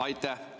Aitäh!